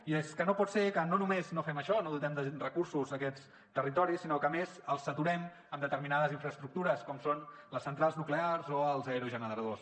i és que no pot ser que no només no fem això no dotem de recursos aquests territoris sinó que a més els saturem amb determinades infraestructures com són les centrals nuclears o els aerogeneradors